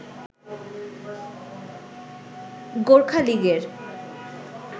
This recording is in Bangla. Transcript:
গোর্খা লিগের